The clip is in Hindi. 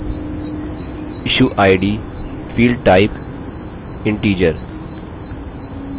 issue id field type integer जो कि प्राइमरी की होगी